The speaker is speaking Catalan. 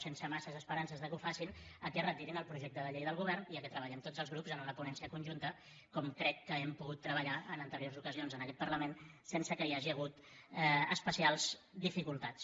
sense massa esperances que ho facin que retirin el projecte de llei del govern i que treballem tots els grups en una ponència conjunta com crec que hem pogut treballar en anteriors ocasions en aquest parlament sense que hi hagi hagut especials dificultats